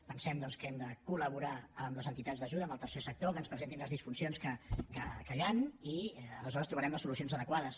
pensem que hem de col·laborar amb les entitats d’ajuda al tercer sector que ens presentin les disfuncions que hi ha i aleshores trobarem les solucions adequades